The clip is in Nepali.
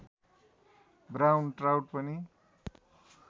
ब्राउन ट्राउट पनि